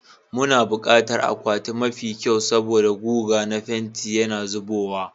Muna buƙatar akwati mafi kyau saboda guga na fenti yana zubowa,